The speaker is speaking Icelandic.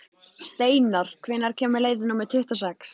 Steinar, hvenær kemur leið númer tuttugu og sex?